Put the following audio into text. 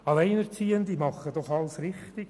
Alleinerziehende machen doch alles richtig: